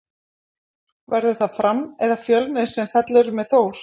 Verður það Fram eða Fjölnir sem fellur með Þór?